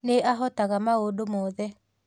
Nĩ ahotaga maũndũ mothe